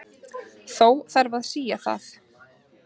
Þó þarf að sía það.